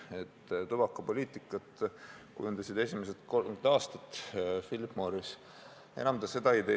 Riikide tubakapoliitikat kujundas esimesed 30 aastat Phillip Morris, enam ta seda ei tee.